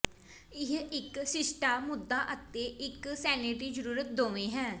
ਇਹ ਇੱਕ ਸ਼ਿਸ਼ਟਤਾ ਮੁੱਦਾ ਅਤੇ ਇੱਕ ਸੈਨੇਟਰੀ ਜ਼ਰੂਰਤ ਦੋਵੇਂ ਹੈ